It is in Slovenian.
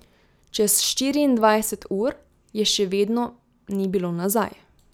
Čez štiriindvajset ur je še vedno ni bilo nazaj.